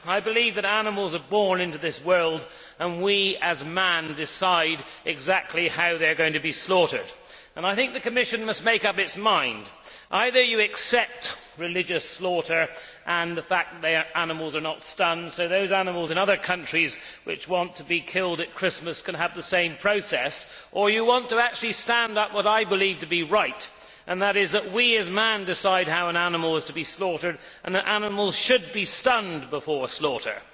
I believe that animals are born into this world and we, as man, decide exactly how they are going to be slaughtered. I think the Commission must make up its mind. Either you accept religious slaughter and the fact that the animals are not stunned, so those animals in other countries which we want to be killed at Christmas can have the same process, or you actually stand up for what I believe to be right, and that is that we, as man, decide how an animal is to be slaughtered and that animals should be stunned before slaughter.